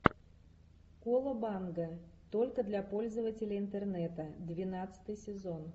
колобанга только для пользователей интернета двенадцатый сезон